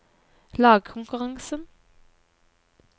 lagkonkurransen